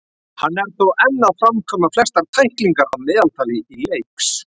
Hann er þó enn að framkvæma flestar tæklingar að meðaltali í leiks.